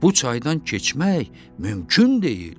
Bu çaydan keçmək mümkün deyil.